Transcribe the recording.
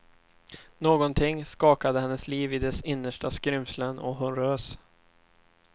Någonting skakade hennes liv i dess innersta skrymslen, och hon rös.